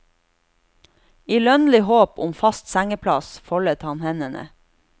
I lønnlig håp om fast sengeplass foldet han hendene.